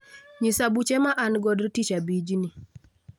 Nyisa buche ma an godo tich abijni.